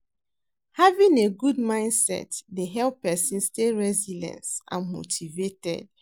Having a good mindset dey help pesin stay resilience and motivated.